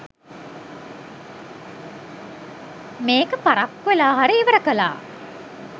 මේක පරක්කු‍ වෙලා හරි ඉවර කලා